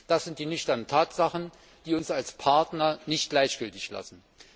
Das sind die nüchternen Tatsachen, die uns als Partner nicht gleichgültig lassen.